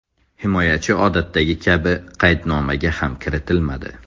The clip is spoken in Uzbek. Himoyachi odatdagi kabi qaydnomaga ham kiritilmadi.